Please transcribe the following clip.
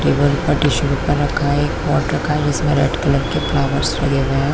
Table पर tissue paper रखा है एक पॉट रखा है जिसमे रेड कलर के रोज लगे हुए है।